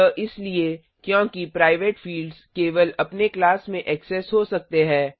यह इसलिए क्योंकि प्राइवेट फिल्ड्स केवल अपने क्लास में ऐक्सेस हो सकते है